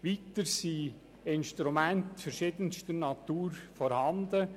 Weiter sind Instrumente verschiedenster Natur vorhanden.